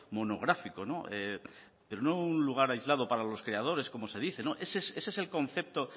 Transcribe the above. monográfico pero no un lugar aislado para los creadores como se dice ese es el concepto